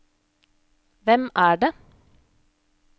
hvem er det